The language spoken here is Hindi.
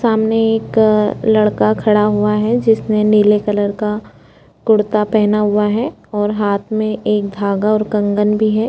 सामने एक लड़का खड़ा हुआ है जिसने नीले कलर का कुर्ता पहना हुआ है हाथ में एक धागा और कंगन भी हैं ।